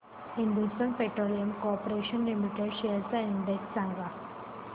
Hindustan petroleum corporation limited shares चा index सांगा